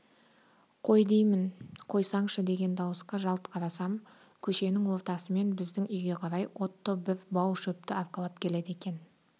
қой деймін қойсаңшы деген дауысқа жалт қарасам көшенің ортасымен біздің үйге қарай отто бір бау шөпті арқалап келеді екен